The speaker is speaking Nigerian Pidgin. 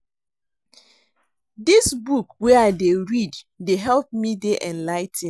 Dis book wey I dey read dey help me dey enligh ten ed